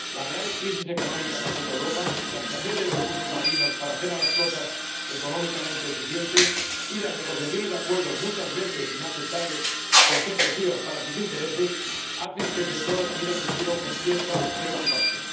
La grave crisis económica que azota Europa, la escasez de recursos marinos para que las flotas sean económicamente eficientes y las negociaciones de acuerdos muchas veces inaceptables, por ser lesivos para sus intereses, hacen que el sector mire al futuro con cierta preocupación.